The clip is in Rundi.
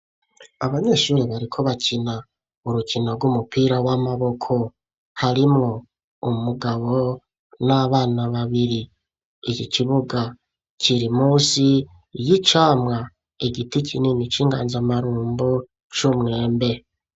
Abanyeshuri bariko bakina urukino rw'umupira w'amaboko, harimwo umugabo n'abana babiri ,iki kibuga kiri munsi y'icamwa igiti kinini c'inganzamarumbo c'umwembe.